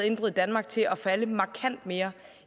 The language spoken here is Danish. indbrud i danmark til at falde markant mere